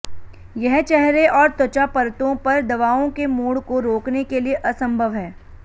यह चेहरे और त्वचा परतों पर दवाओं के मोड़ को रोकने के लिए असंभव है